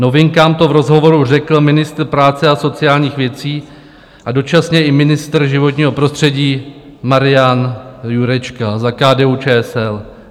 Novinkám to v rozhovoru řekl ministr práce a sociálních věcí a dočasně i ministr životního prostředí Marian Jurečka za KDU-ČSL.